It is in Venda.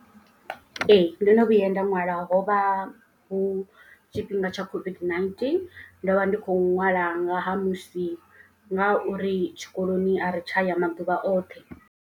Ee ndo no vhuya nda ṅwala hovha hu tshifhinga tsha COVID-19. Ndo vha ndi khou ṅwala nga ha musi nga uri tshikoloni a ri tsha ya maḓuvha oṱhe.